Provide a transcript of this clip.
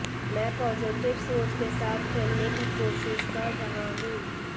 मैं पॉजिटिव सोच के साथ खेलने की कोशिश कर रहा हूं